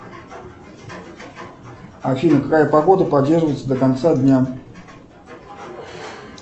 афина какая погода продержится до конца дня